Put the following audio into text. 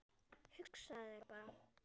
Hugsaðu þér bara